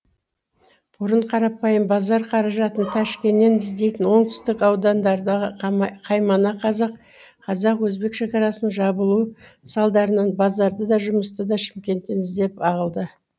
бұрын қарапайым базар қаражатын тәшкеннен іздейтін оңтүстік аудандардағы қаймана қазақ қазақ өзбек шекарасының жабылуы салдарынан базарды да жұмысты да шымкенттен іздеп ағылды